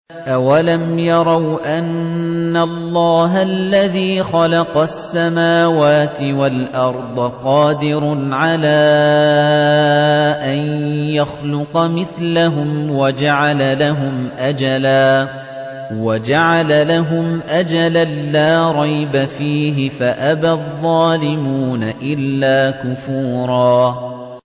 ۞ أَوَلَمْ يَرَوْا أَنَّ اللَّهَ الَّذِي خَلَقَ السَّمَاوَاتِ وَالْأَرْضَ قَادِرٌ عَلَىٰ أَن يَخْلُقَ مِثْلَهُمْ وَجَعَلَ لَهُمْ أَجَلًا لَّا رَيْبَ فِيهِ فَأَبَى الظَّالِمُونَ إِلَّا كُفُورًا